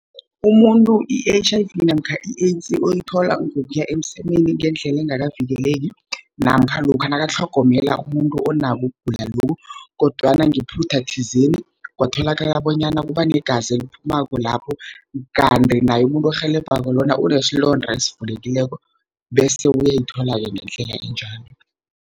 Umuntu i-H_I_V namkha i-AIDS uyithola ngokuya emsemeni ngendlele engakavikeleki, namkha lokha nakatlhogomela umuntu onakho ukugula lokhu, kodwana ngephutha thizeni kwatholakala bonyana kubanegazi eliphumako lapho, kanti naye umuntu orhelebhako lona unesilonda esivulekileko, bese uyayithola-ke ngendlela enjalo.